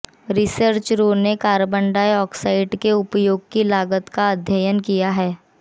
रिसर्चरों ने carbon dioxide के उपयोग की लागत का अध्ययन किया है